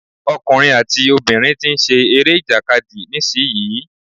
Ọkùnrin àti obìnrin tí ń ṣe eré ìjàkadì nísìyí.